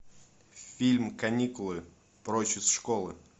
фильм каникулы прочь из школы